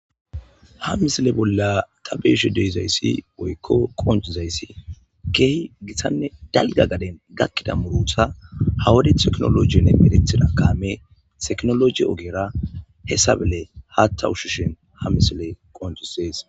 ha misile bolla ta be7ashe dizayssi woykko qonccizayssi keehi githanne dalga gaden gakkida murutha ha wade teknolojiinne merethida kaame teknoloji ogera hessabele haatta ushshushin ha misile qonccisees.